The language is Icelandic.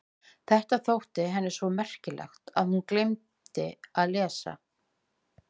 Þetta hafði henni þótt svo merkilegt að hún steingleymdi að lesa.